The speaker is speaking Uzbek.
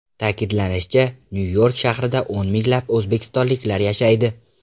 Ta’kidlanishicha, Nyu-York shahrida o‘n minglab o‘zbekistonliklar yashaydi.